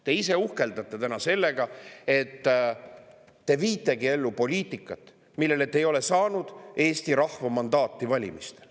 Te ise uhkeldate täna sellega, et te viitegi ellu poliitikat, milleks te ei ole valimistel saanud Eesti rahva mandaati.